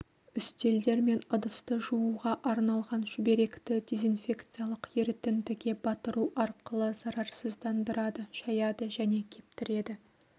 үстелдер мен ыдысты жууға арналған шүберекті дезинфекциялық ерітіндіге батыру арқылы зарарсыздандырады шаяды және кептіреді